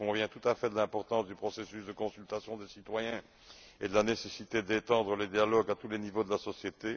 Je conviens tout à fait de l'importance du processus de consultation des citoyens et de la nécessité d'étendre le dialogue à tous les niveaux de la société.